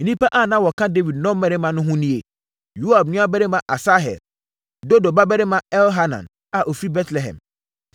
Nnipa a na wɔka Dawid nnɔmmarima no ho nie: Yoab nuabarima Asahel; Dodo babarima Elhanan a ɔfiri Betlehem;